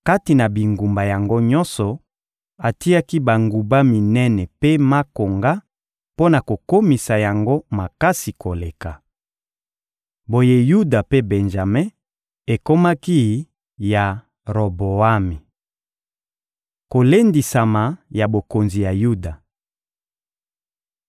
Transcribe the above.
Kati na bingumba yango nyonso, atiaki banguba minene mpe makonga mpo na kokomisa yango makasi koleka. Boye Yuda mpe Benjame ekomaki ya Roboami. Kolendisama ya bokonzi ya Yuda